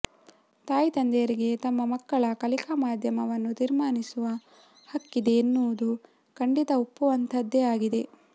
ತಾಯಿ ತಂದೆಯರಿಗೆ ತಮ್ಮ ಮಕ್ಕಳ ಕಲಿಕಾ ಮಾಧ್ಯಮವನ್ನು ತೀರ್ಮಾನಿಸುವ ಹಕ್ಕಿದೆ ಎನ್ನುವುದು ಖಂಡಿತಾ ಒಪ್ಪುವಂತಹುದ್ದೇ ಆಗಿದೆ